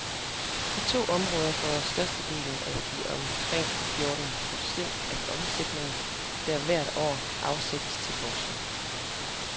De to områder får størstedelen af de omkring fjorten procent af omsætningen, der hvert år afsættes til forskning.